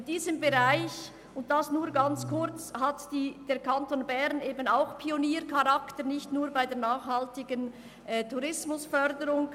In diesem Bereich hat der Kanton Bern auch Pioniercharakter, nicht nur in der nachhaltigen Tourismusförderung.